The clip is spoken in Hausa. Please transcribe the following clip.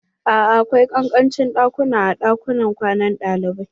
A'a akwai ƙanƙancin ɗakuna a ɗakunan kwanan ɗalibai.